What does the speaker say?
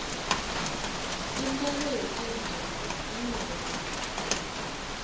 intalo yetinja inengi